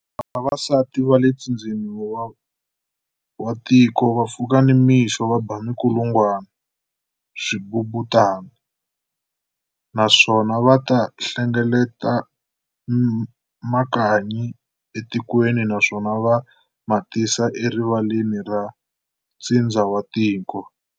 Vavasiti va le ntsindzeni wa tiko vapfuka namixo va ba minkulungungwana, Swibubutana, naswona va ta hlengeleta makanyi etikweni naswona va matisa erivaleni ra ntsindza watiko.